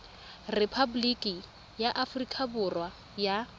repaboliki ya aforika borwa ya